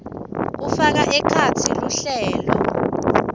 kufaka ekhatsi luhlelo